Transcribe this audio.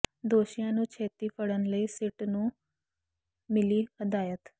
ਦੋਸ਼ੀਆਂ ਨੂੰ ਛੇਤੀ ਫੜਨ ਲਈ ਸਿੱਟ ਨੂੰ ਮਿਲੀ ਹਦਾਇਤ